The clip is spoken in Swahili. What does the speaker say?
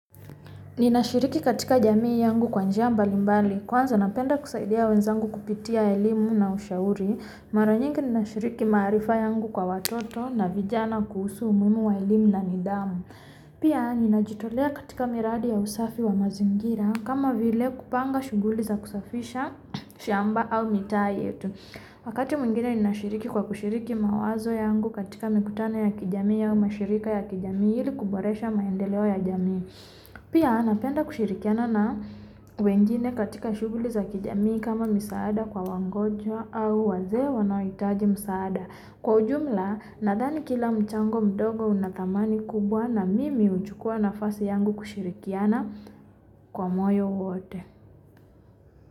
Ninashiriki katika jamii yangu kwa njia mbalimbali. Kwanza napenda kusaidia wenzangu kupitia elimu na ushauri. Mara nyingi ninashiriki maarifa yangu kwa watoto na vijana kuhusu umuhimu wa elimu na nidhamu. Pia ninajitolea katika miradi ya usafi wa mazingira kama vile kupanga shughuli za kusafisha shamba au mitaa yetu. Wakati mwingine ninashiriki kwa kushiriki mawazo yangu katika mikutano ya kijami ya mashirika ya kijami ili kuboresha maendeleo ya jamii. Pia napenda kushirikiana na wengine katika shughuli za kijami kama misaada kwa wagonjwa au wazee wanaohitaji misaada. Kwa ujumla nadhani kila mchango mdogo una dhamani kubwa na mimi huchukua nafasi yangu kushirikiana kwa moyo wote.